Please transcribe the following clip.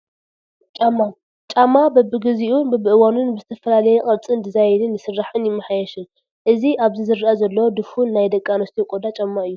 ጫማ፡- ጫማ በቢጊዜኡን በብእዋኑን ብዝተፈላለየ ቅርፅን ዲዛይንን ይስራሕን ይማሓየሽን፡፡ እዚ ኣብዚ ዝረአ ዘሎ ድፉን ናይ ደቂ ኣንስትዮ ቆዳ ጫማ እዩ፡፡